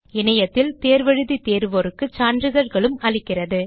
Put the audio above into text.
இணையத்தில் தேர்வு எழுதி தேர்வோருக்கு சான்றிதழ்களும் அளிக்கிறது